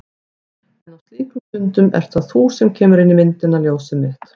En á slíkum stundum ert það þú sem kemur inn í myndina. ljósið mitt.